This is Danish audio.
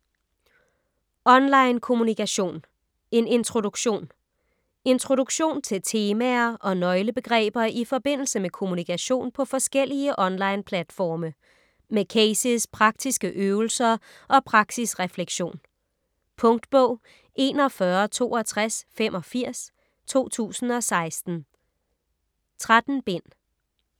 Online kommunikation: en introduktion Introduktion til temaer og nøglebegreber i forbindelse med kommunikation på forskellige online platforme. Med cases, praktiske øvelser og praksisreflektion. Punktbog 416285 2016. 13 bind.